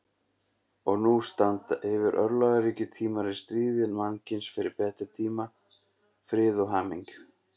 Og nú standa yfir örlagaríkir tímar í stríði mannkyns fyrir betri tíma, frið og hamingju.